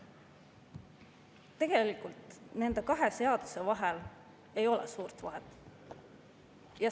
Tegelikult ei ole nende kahe seaduse vahel suurt vahet.